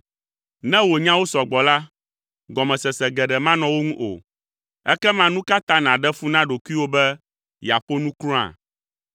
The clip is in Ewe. Ne wò nyawo sɔ gbɔ la, gɔmesese geɖe manɔ wo ŋu o, ekema nu ka ta nàɖe fu na ɖokuiwò be yeaƒo nu kura?